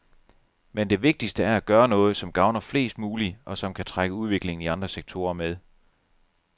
Men det vigtigste er at gøre noget, som gavner flest mulige, og som kan trække udviklingen i andre sektorer med.